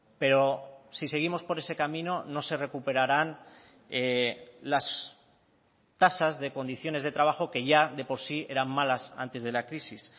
pero si seguimos por ese camino no se recuperarán las tasas de condiciones de trabajo que ya de por sí eran malas antes de la crisis